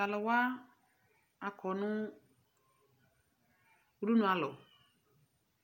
T'alʋ wa akɔ nʋ udunʋalɔ